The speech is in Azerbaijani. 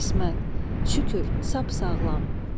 İsmət, şükür, sap sağlam.